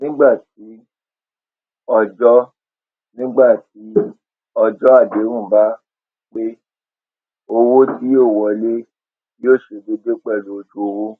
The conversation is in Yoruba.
nígbà tí ọjó nígbà tí ọjó àdéhùn bá pé owó tí yóò wọlé yóò ṣe déédé pèlú ojú owó